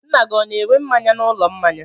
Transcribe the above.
Nna gị ọ na-ere mmanya n'ụlọ mmanya?